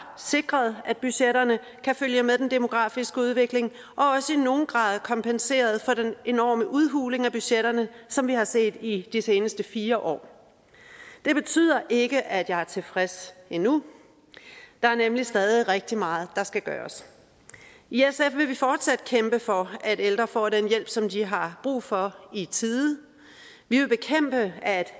sikret at budgetterne kan følge med den demografiske udvikling og også i nogen grad har kompenseret for den enorme udhuling af budgetterne som vi har set i de seneste fire år det betyder ikke at jeg er tilfreds endnu der er nemlig stadig rigtig meget der skal gøres i sf vil vi fortsat kæmpe for at ældre får den hjælp som de har brug for i tide vi vil bekæmpe at